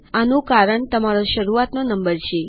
આનું કારણ તમારો શરૂઆતનો નંબર છે